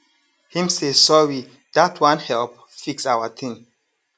him say sorry dat one help fix our ting